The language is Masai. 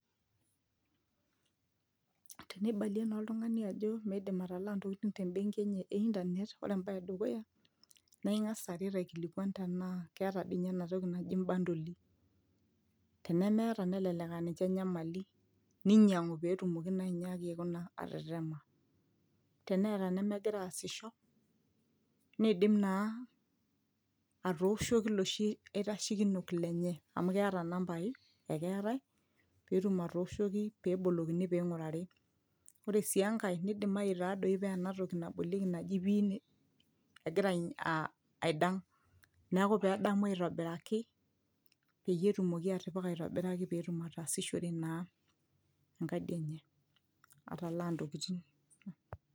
tenibalie naa oltung'ani ajo midim atalaa ntokitin tem benki enye e internet ore embaye edukuya naaa ing'as aret aikilikuan tenaa keeta dii ninye enetoki naji imbandoli tenemeeta nelelek aninche enyamali ninyiang'u petumoki naa ainyiaki aikuna aa atetema teneeta nemegira aasisho niidim naa atooshoki iloshi aitashekinok lenye amu keeta inambai ekeetae peetum atooshoki pebolokini ping'urari ore sii enkae nidimai taadoi paa enatoki nabolieki naji pin egira ai aidang neeku pedamu aitobiraki peyie etumoki atipika aitobiraki peyie etum ataasishore naa enkadi enye atalaa ntokitin.